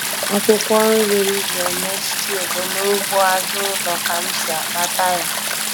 Akwụkwọ nri m ji eme stew bụ n'ugbo azụ ụlọ ka m si akpata ya.